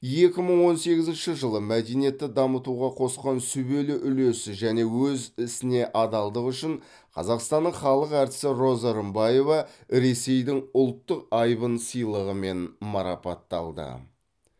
екі мың он сегізінші жылы мәдениетті дамытуға қосқан сүбелі үлесі және өз ісіне адалдығы үшін қазақстанның халық әртісі роза рымбаева ресейдің ұлттық айбын сыйлығымен марапатталды